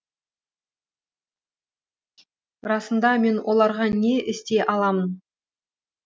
расында мен оларға не істей аламын